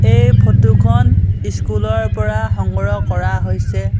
এই ফটো খন স্কুল ৰ পৰা সংগ্ৰহ কৰা হৈছে।